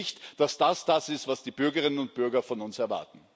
Ich denke nicht, dass es das ist, was die Bürgerinnen und Bürger von uns erwarten.